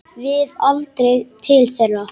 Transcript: Við aldrei til þeirra.